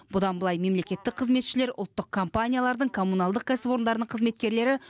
бұдан былай мемлекеттік қызметшілер ұлттық компаниялардың коммуналдық кәсіпорындардың қызметкерлері